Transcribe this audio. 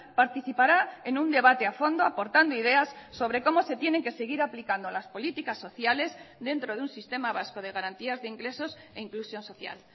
participará en un debate a fondo aportando ideas sobre cómo se tienen que seguir aplicando las políticas sociales dentro de un sistema vasco de garantías de ingresos e inclusión social